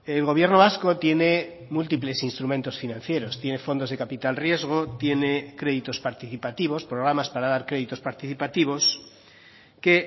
el gobierno vasco tiene múltiples instrumentos financieros tiene fondos de capital riesgo tiene créditos participativos programas para dar créditos participativos que